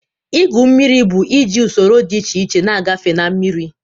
Ígwu mmiri bụ iji usoro dị iche iche na-agafe na mmiri.